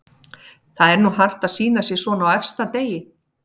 Það er nú hart að sýna sig svona á efsta degi.